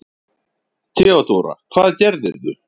THEODÓRA: Hvað gerðirðu?